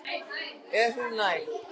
Er hún næg?